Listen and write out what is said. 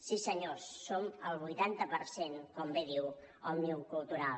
sí senyors som el vuitanta per cent com bé diu òmnium cultural